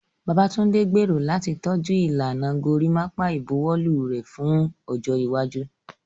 Babatunde gbèrò láti tọ́jú ìlànà gorimapa ìbuwọ́lù rẹ̀ fún ọjọ́ iwájú.